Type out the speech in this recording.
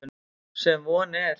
Sem von er.